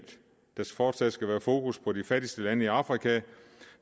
der fortsat skal være fokus på de fattigste lande i afrika